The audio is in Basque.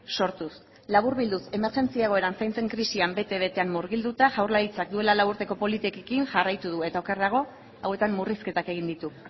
sortuz laburbilduz emergentzi egoeran zaintzen krisian bete betean murgilduta jaurlaritzak duela lau urteko politikekin jarraitu du eta okerrago hauetan murrizketak egin ditu